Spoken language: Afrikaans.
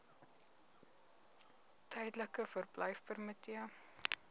tydelike verblyfpermitte